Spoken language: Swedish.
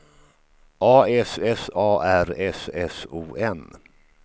A S S A R S S O N